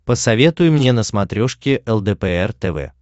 посоветуй мне на смотрешке лдпр тв